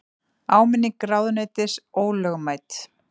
Áminning ráðuneytis ólögmæt